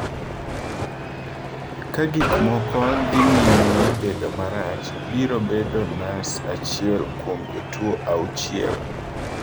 “Ka gik moko dhi nyime bedo marach, biro bedo nas achiel kuom jotuwo auchiel.”